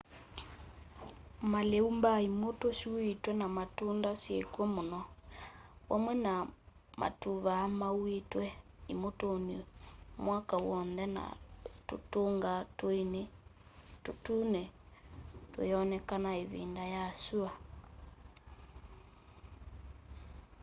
malĩu mbaa imutũ syuĩtwe na matunda syĩkw'o mũno vamwe na matũvaa mauĩtwe imutũnĩ mwaka w'onthe na tũtunga tũini na tũtune tũyonekana ĩvindanĩ ya syũa